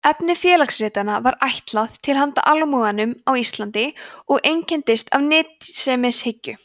efni félagsritanna var ætlað „til handa almúganum á íslandi“ og einkenndist af nytsemishyggju